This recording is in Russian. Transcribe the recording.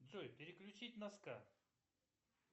джой переключить на ска